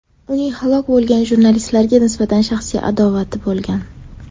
Uning halok bo‘lgan jurnalistlarga nisbatan shaxsiy adovati bo‘lgan.